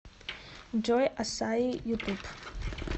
джой ассаи ютуб